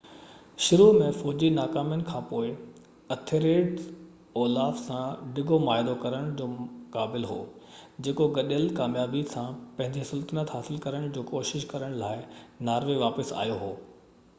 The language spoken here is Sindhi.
شروع ۾ فوجي ناڪامين کانپوءِ اٿيلريڊ اولاف سان ڊگهو معاهدو ڪرڻ جي قابل هو جيڪو گڏيل ڪاميابي سان پنهنجي سلطنت حاصل ڪرڻ جي ڪوشش ڪرڻ لاءِ ناروي واپس آيو هو